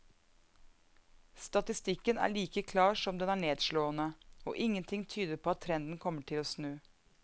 Statistikken er like klar som den er nedslående, og ingenting tyder på at trenden kommer til å snu.